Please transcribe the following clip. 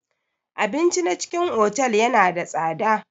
Abinci na cikin otal yana da tsada.